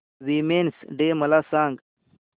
women's day मला सांग